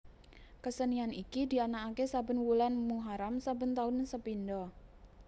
Kesenian iki dianakkaké saben wulan muharam saben tahun sepindha